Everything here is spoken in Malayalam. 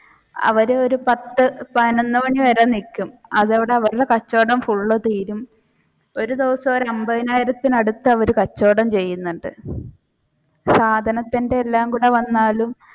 അവർ ഒരു പത്തു പതിനൊന്നു മണി വരെ നിൽക്കും. അതോടെ അവരുടെ കച്ചവടം ഫുൾ തീരും ഒരു ദിവസം ഒരു അന്പത്തിനായിരത്തിന് അടുത്ത് അവർ കച്ചവടം ചെയ്യുന്നുണ്ട് സാധനത്തിന്റെ എല്ലാം കൂടെ വന്നാലും